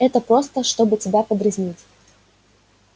это просто чтобы тебя подразнить